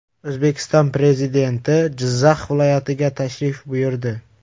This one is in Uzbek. O‘zbekiston Prezidenti Jizzax viloyatiga tashrif buyurdi .